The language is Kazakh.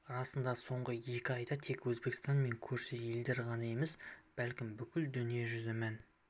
расында соңғы екі айда тек өзбекстан мен көрші елдер ғана емес бәлкім бүкіл дүние жүзі мән